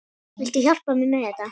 Viltu hjálpa mér með þetta?